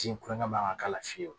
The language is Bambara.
Ji kulonkɛ man kan k'a la fiyewu